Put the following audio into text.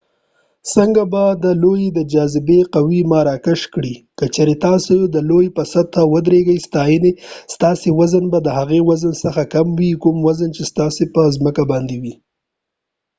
څنګه به دي لو د جا‌‌ ذبی قوه ما راکش کړي ؟ که چېرته تاسی د لو په سطحه ودرېږی ستاسې وزن به د هغه وزن څخه کم وي کوم وزن چې ستاسې په ځمکه باندي دي